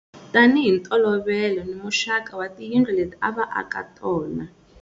Tani hi ntolovelo ni muxaka wa tiyindlu leti a va aka tona.